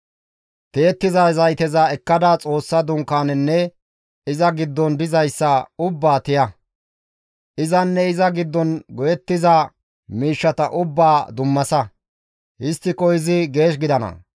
«Tiyettiza zayteza ekkada Xoossa Dunkaanezanne iza giddon dizayssa ubbaa tiya; izanne iza giddon go7ettiza miishshata ubbaa dummasa; histtiko izi geesh gidana.